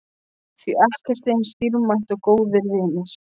Því ekkert er eins dýrmætt og góðir vinir.